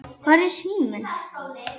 Hvar er síminn?